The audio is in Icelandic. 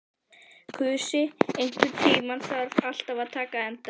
Kusi, einhvern tímann þarf allt að taka enda.